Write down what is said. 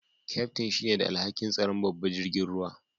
Kaftin shine da alhaki'n tsaran babban jirigin ruwan.